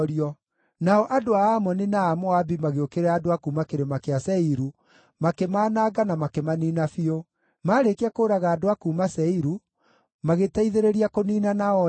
Nao andũ a Amoni na a Moabi magĩũkĩrĩra andũ a kuuma Kĩrĩma kĩa Seiru, makĩmananga na makĩmaniina biũ. Maarĩkia kũũraga andũ a kuuma Seiru, magĩteithĩrĩria kũniinana o ene.